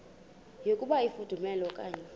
yokuba ifudumele okanye